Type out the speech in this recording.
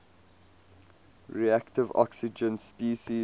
reactive oxygen species